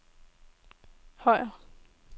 Højer